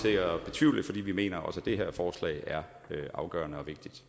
det vi mener også at det her forslag er afgørende